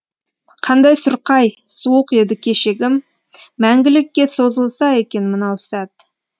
қандай сұрқай суық еді кешегім мәңгілікке созылса екен мынау сәт